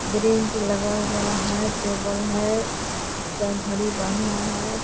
Bench लगा हुआ है टेबल है है।